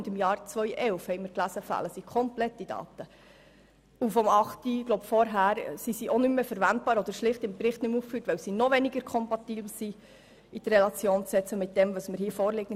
Zudem fehlen die Daten aus dem Jahr 2011 vollständig und diejenigen vor 2009 sind nicht mehr verwendbar oder im Bericht einfach nicht aufgeführt, weil sie mit dem, was nun vorliegt, noch weniger kompatibel sind.